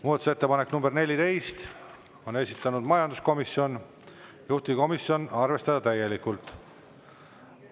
Muudatusettepanek nr 14, on esitanud majanduskomisjon, juhtivkomisjon: arvestada täielikult.